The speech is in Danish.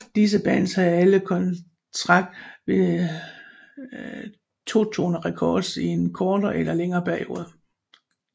Disse bands havde alle kontrakt ved 2 Tone Records i en kortere eller længere periode